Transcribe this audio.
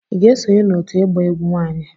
Ị ga-esonye n'òtù ịgba egwu nwanyị